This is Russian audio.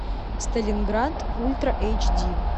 сталинград ультра эйч ди